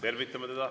Tervitame teda.